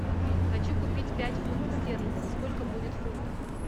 хочу купить пять фунтов стерлингов сколько будет в фунтах